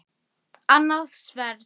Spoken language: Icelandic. Hjarta hvorugs bræðir hitt.